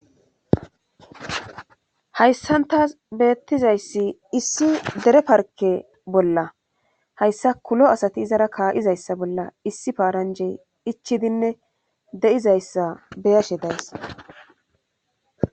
hayssan tas bettizayssi issi dere parke bolla hayssa kulo asati izara kaa'izayssa bolla issi paaranjey ichidinne de'izayssa be'ashe days